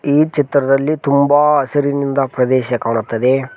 ಈ ಚಿತ್ರದಲ್ಲಿ ತುಂಬಾ ಹಸಿರಿನಿಂದ ಪ್ರದೇಶ ಕಾಣುತ್ತದೆ.